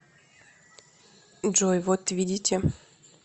джой вот видите